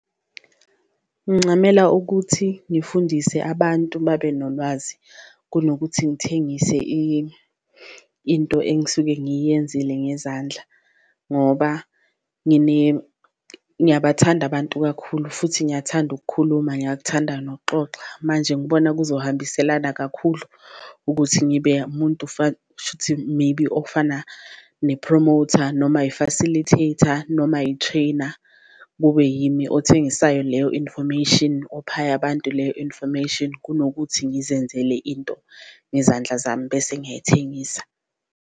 Ngincamela ukuthi ngifundise abantu babe nolwazi kunokuthi ngithengise into engisuke ngiyenzele ngezandla ngoba ngiyabathanda abantu kakhulu futhi ngiyathanda ukukhuluma, ngiyakuthanda nokuxoxa. Manje ngibona kuzohambiselana kakhulu ukuthi ngibe umuntu kushuthi maybe ofana ne-promoter, noma yi-facilitator, noma i-trainer. Kube yimi othengisayo leyo information ophayo abantu leyo information, kunokuthi ngizenzele into ngezandla zami bese ngiyayithengisa.